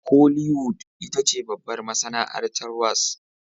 Holiwwood itace babbar masanaartar wasn